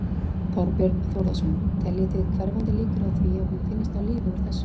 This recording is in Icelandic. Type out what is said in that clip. Þorbjörn Þórðarson: Teljið þið hverfandi líkur á því að hún finnist á lífi úr þessu?